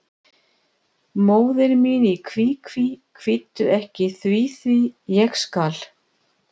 Móðir mín í kví, kví, kvíddu ekki því, því, ég skal.